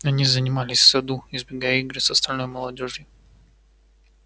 они занимались в саду избегая игр с остальной молодёжью